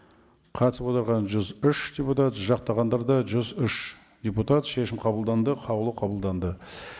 қатысып отырған жүз үш депутат жақтағандар да жүз үш депутат шешім қабылданды қаулы қабылданды